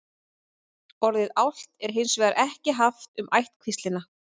orðið álft er hins vegar ekki haft um ættkvíslina